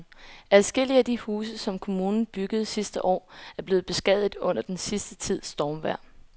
Adskillige af de huse, som kommunen byggede sidste år, er blevet beskadiget under den sidste tids stormvejr.